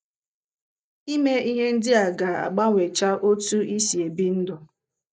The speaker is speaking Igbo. Ime ihe ndị a ga - agbanwecha otú i si ebi ndụ.